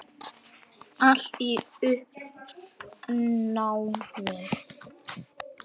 Allt í uppnámi.